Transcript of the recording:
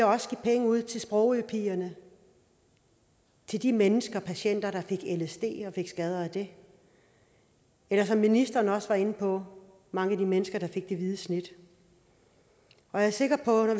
også give penge ud til sprogøpigerne til de mennesker og patienter der fik lsd og fik skader af det eller som ministeren også var inde på penge mange af de mennesker der fik det hvide snit jeg er sikker på at